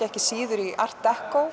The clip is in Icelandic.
ekki síður art